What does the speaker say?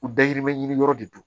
U dayirimɛ ɲini yɔrɔ de do